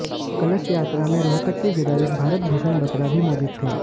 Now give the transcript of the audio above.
कलश यात्रा में रोहतक के विधायक भारत भूषण बतरा भी मौजूद थे